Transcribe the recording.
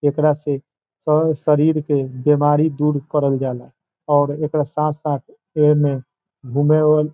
एकरा से शरीर के बीमारी दूर करल जाला और एकरा साथ-साथ एमे --